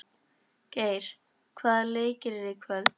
Geir, hvaða leikir eru í kvöld?